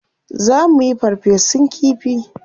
Za muyi farfesun kifi.